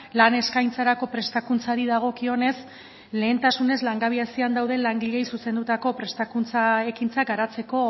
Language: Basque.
lan eskaintzarako prestakuntzari dagokionez lehentasunez langabezian dauden langileei zuzendutako prestakuntza ekintzak garatzeko